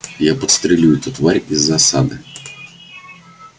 я подстрелю эту тварь из засады